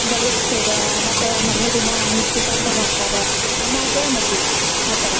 ಬಳಿ ಇಡೋಸೋದ್ ಮತ್ತ ಮರ್ನೇ ದಿನ ನಿಶ್ಚಿತಾರ್ಥ ಮಾಡ್ತಾರ ಆಮ್ಯಾಗ ಮದ್ವಿ ಆತರಾ.